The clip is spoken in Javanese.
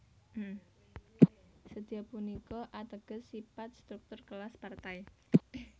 Sedya punika ateges sipat struktur kelas Partai